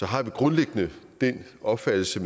har vi grundlæggende den opfattelse